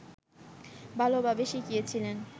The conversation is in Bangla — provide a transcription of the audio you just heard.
ভালোভাবে শিখিয়েছিলেন